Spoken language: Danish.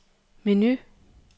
menu